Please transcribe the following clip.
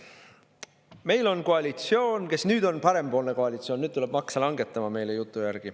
Meil on koalitsioon, nüüd on meil parempoolne koalitsioon, kes nüüd tuleb oma jutu järgi makse langetama.